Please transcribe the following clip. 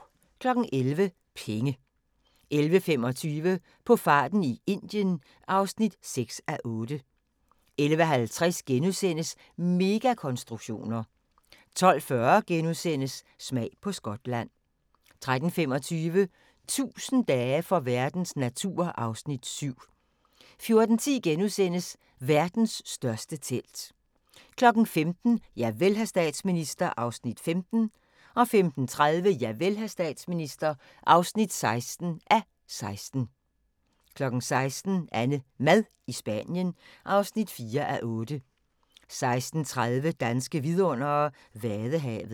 11:00: Penge 11:25: På farten i Indien (6:8) 11:50: Megakonstruktioner * 12:40: Smag på Skotland * 13:25: 1000 dage for verdens natur (Afs. 7) 14:10: Verdens største telt * 15:00: Javel, hr. statsminister (15:16) 15:30: Javel, hr. statsminister (16:16) 16:00: AnneMad i Spanien (4:8) 16:30: Danske vidundere: Vadehavet